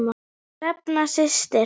Hrefna systir.